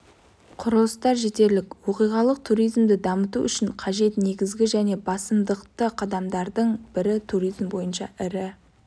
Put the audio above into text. құрылыстар жетерлік оқиғалық туризмді дамыту үшін қажет негізгі және басымдықты қадамдардың бірі туризм бойынша ірі